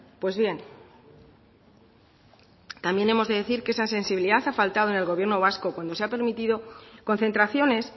pues bien también hemos de decir que esa sensibilidad ha faltado en el gobierno vasco cuando se ha permitido concentraciones